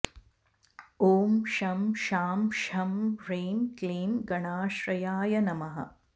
ॐ शं शां षं ह्रीं क्लीं गणाश्रयाय नमः